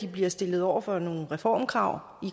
bliver stillet over for nogle reformkrav